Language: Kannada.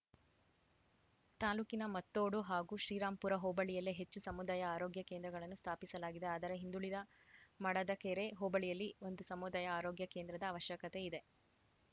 ತಾಲೂಕಿನ ಮತ್ತೋಡು ಹಾಗೂ ಶ್ರೀರಾಂಪುರ ಹೋಬಳಿಯಲ್ಲೇ ಹೆಚ್ಚು ಸಮುದಾಯ ಆರೋಗ್ಯ ಕೇಂದ್ರಗಳನ್ನು ಸ್ಥಾಪಿಸಲಾಗಿದೆ ಆದರೆ ಹಿಂದುಳಿದ ಮಾಡದಕೆರೆ ಹೋಬಳಿಯಲ್ಲಿ ಒಂದು ಸಮುದಾಯ ಆರೋಗ್ಯ ಕೇಂದ್ರದ ಅವಶ್ಯಕತೆ ಇದೆ